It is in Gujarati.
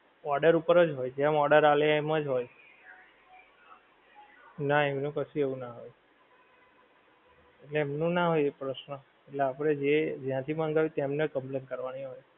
order ઉપર જ હોય જેમ order આપે એમ જ હોય ના એમનું કશું એવું ના હોય એમનું ના હોય પ્રશ્ન એટલે આપણે જે જ્યાંથી મંગાવ્યું તેમને complaint કરવાની હોય.